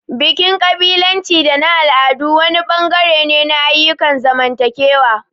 Bikin ƙabilanci da na al'adu wani bangare ne na ayyukan zamantakewa.